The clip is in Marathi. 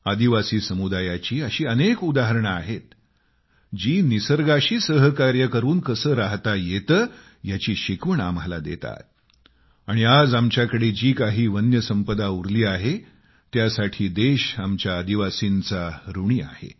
आदिवासी समुदायाची अशी अनेक उदाहरणे आहेत जी आम्हाला निसर्गाशी सहकार्य करून कसे राहता येते याची शिकवण देतात आणि आज आमच्याकडे जी काही वन्य संपदा उरली आहे त्यासाठी देश आमच्या आदिवासींचा ऋणी आहे